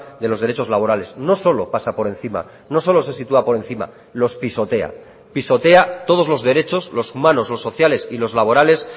de los derechos laborales no solo pasa por encima no solo se sitúa por encima los pisotea pisotea todos los derechos los humanos los sociales y los laborales